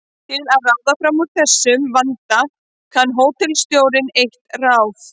Til að ráða fram úr þessum vanda kann hótelstjórinn eitt ráð.